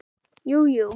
Jú jú.